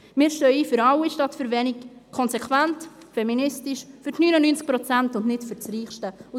Wir stehen «für alle statt für wenige» ein – konsequent, feministisch, für 99 Prozent und nicht für das reichste Prozent.